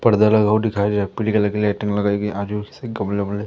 पर्दा लगा हुआ दिखाई दे पीली कलर की लाइटिंग लगाई गई आजू बाजू सब कपड़े वपडे--